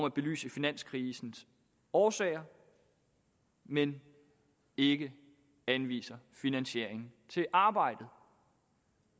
at belyse finanskrisens årsager men ikke anviser finansiering til arbejdet